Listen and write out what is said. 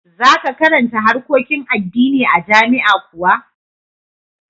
Za ka karanta harkokin addini a jami'a kuwa?